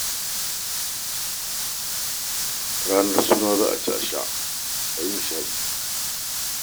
Ranar suna: za a ci a sha a yi nishaɗi